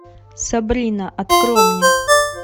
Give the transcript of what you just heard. сабрина открой мне